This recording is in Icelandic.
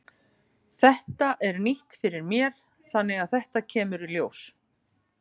Þetta er nýtt fyrir mér þannig að þetta kemur í ljós.